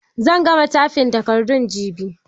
Zan gama taifin takardun jibi.